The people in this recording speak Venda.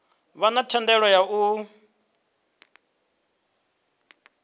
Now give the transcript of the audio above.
vha na thendelo ya u